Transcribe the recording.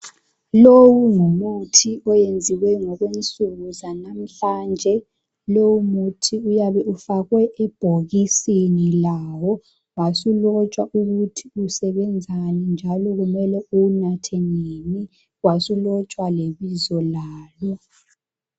Lowu ngumuthi oyenziwe ngokwensuku zanamhlanje lowu muthi uyabe ufake ebhokisini lawo wasulotshwa ukuthi usebenzani njalo kumele uwunathe nini, wasulotshwa lebizo lawo.